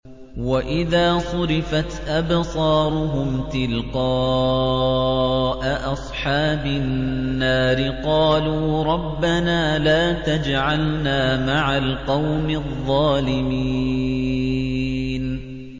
۞ وَإِذَا صُرِفَتْ أَبْصَارُهُمْ تِلْقَاءَ أَصْحَابِ النَّارِ قَالُوا رَبَّنَا لَا تَجْعَلْنَا مَعَ الْقَوْمِ الظَّالِمِينَ